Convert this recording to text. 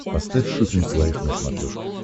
поставь шоппинг лайв на смотрешке